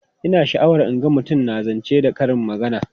Ina sha'awar in ga mutum na zance da karin magana.